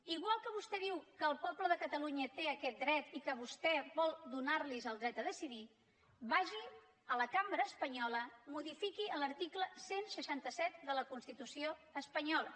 igual que vostè diu que el poble de catalunya té aquest dret i que vostè vol donar los el dret a decidir vagi a la cambra espanyola modifiqui l’article cent i seixanta set de la constitució espanyola